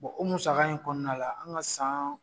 o musaka in kɔnɔna la an ka san.